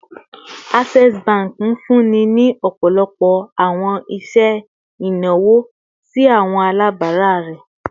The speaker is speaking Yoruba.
Access Bank nfunni ni ọpọlọpọ awọn iṣẹ inawo si awọn alabara rẹ